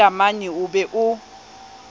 le leamanyi o be o